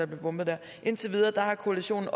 bombet der indtil videre har koalitionen